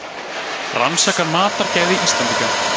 Rannsaka mataræði Íslendinga